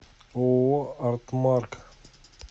ооо артмарк